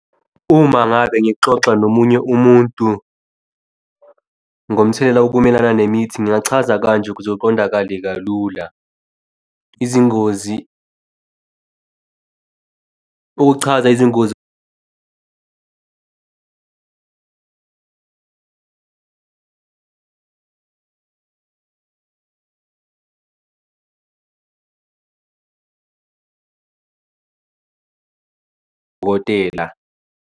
Uma ngabe ngixoxa nomunye umuntu ngomthelela wokumelana nemithi, ngingachaza kanje ukuze kuqondakale kalula. Izingozi ukukuchaza izingozi wotela.